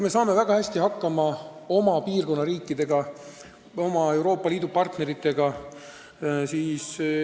Me saame väga hästi hakkama oma piirkonna riikidega, oma Euroopa Liidu partneritega.